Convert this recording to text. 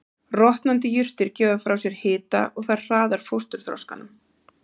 Rotnandi jurtir gefa frá sér hita og það hraðar fósturþroskanum.